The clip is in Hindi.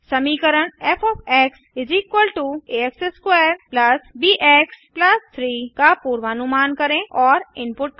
समीकरण फ़ आ x2 ब एक्स 3 का पूर्वानुमान करें और इनपुट करें